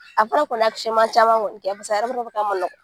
A kɔni ya caman kɔni kɛ paseke a yɛrɛ bɛ k'a man nɔgɔ.